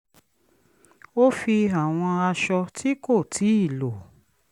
ó fi àwọn aṣọ tí kò tíì lò